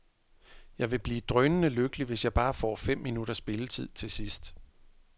Jeg vil blive drønende lykkelig, hvis jeg bare får fem minutters spilletid til sidst.